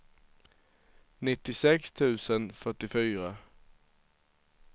nittiosex tusen fyrtiofyra